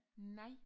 Nej